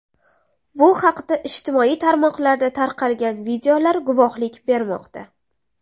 Bu haqda ijtimoiy tarmoqlarda tarqalgan videolar guvohlik bermoqda.